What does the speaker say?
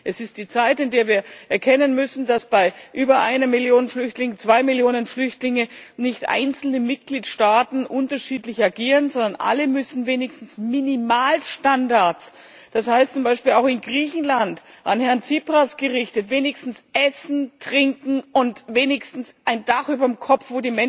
Es ist die Zeit, in der wir erkennen müssen, dass bei über einer Million Flüchtlinge, zwei Millionen Flüchtlingen, nicht einzelne Mitgliedstaaten unterschiedlich agieren können, sondern alle müssen wenigstens für Minimalstandards sorgen das heißt zum Beispiel auch in Griechenland an Herrn Tsipras gerichtet wenigstens für Essen, Trinken und ein Dach überm Kopf.